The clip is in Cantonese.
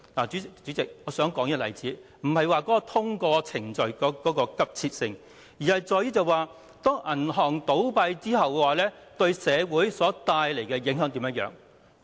主席，我舉出這例子，並非要說明通過程序的急切性，而是銀行倒閉會對社會帶來甚麼影響。